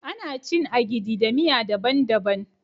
Ana cin " Agidi" da miya dabban -dabban.